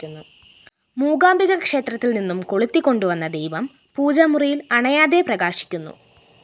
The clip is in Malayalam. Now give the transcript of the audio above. മൂകാംബിക ക്ഷേത്രത്തില്‍നിന്നും കൊളുത്തിക്കൊണ്ടുവന്ന ദീപം പൂജാമുറിയില്‍ അണയാതെ പ്രകാശിക്കുന്നു